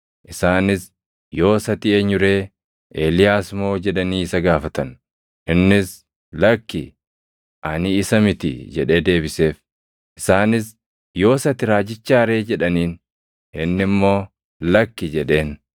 Isaanis, “Yoos ati eenyu ree? Eeliyaas moo?” jedhanii isa gaafatan. Innis, “Lakki, ani isa miti” jedhee deebiseef. Isaanis, “Yoos ati Raajichaa ree?” + 1:21 \+xt KeD 18:15\+xt* jedhaniin. Inni immoo, “Lakki” jedheen.